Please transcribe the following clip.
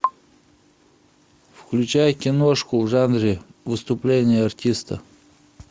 включай киношку в жанре выступление артиста